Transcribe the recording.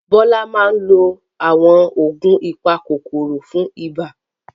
Bola máa ń lo àwọn oògùn apakòkòrò fún ibà.